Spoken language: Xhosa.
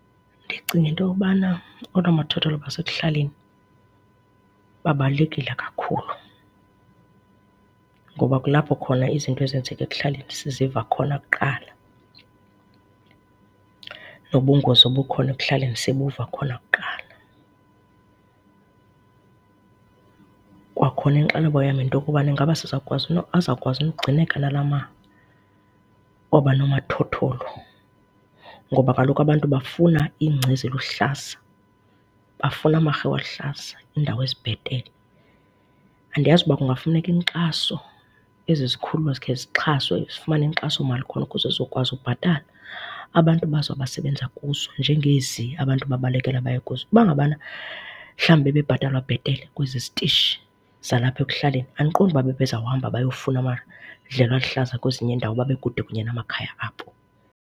Ndicinga into yokubana oonomathotholo basekuhlaleni babalulekile kakhulu ngoba kulapho khona izinto ezenzeka ekuhlaleni siziva khona kuqala, nobungozi obukhona ekuhlaleni sibuva khona kuqala. Kwakhona inxalabo yam yinto yokubana ingaba sizokwazi na, azakwazi na ugcineke nalaa oba nomathotholo ngoba kaloku abantu bafuna iingca eziluhlaza, bafuna amarhewu aluhlaza, iindawo ezibhetele. Andiyazi uba kungafuneka inkxaso, ezi zikhululo sikhe zixhaswa, zifumane inkxasomali khona ukuze zizokwazi ubhatala abantu bazo abasebenza kuzo njengezi abantu babalekele baye kuzo. Uba ngabana mhlawumbi bebhatalwa bhetele kwezi zitishi zalapha ekuhlaleni andiqondi uba bebezawuhamba beyofuna amadlelo aluhlaza kwezinye iindawo babekude kunye namakhaya abo.